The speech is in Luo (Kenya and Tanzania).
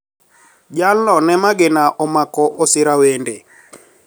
Jalno ne magina omako osirawende